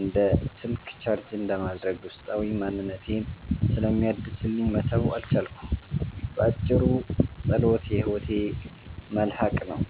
እንደ ስልክ ቻርጅ እንደማድረግ ውስጣዊ ማንነቴን ስለሚያድስልኝ መተው አልቻልኩም። ባጭሩ፣ ጸሎት የሕይወቴ መልሕቅ ነው።